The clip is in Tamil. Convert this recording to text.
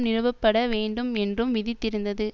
நிறுவப்பட வேண்டும் என்றும் விதித்திருந்தது